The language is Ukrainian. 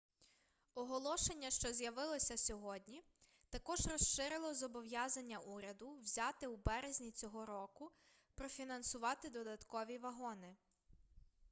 оголошення що з'явилося сьогодні також розширило зобов'язання уряду взяте у березні цього року профінансувати додаткові вагони